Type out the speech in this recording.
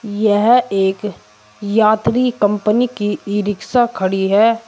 यह एक यात्री कंपनी की ई रिक्शा खड़ी है।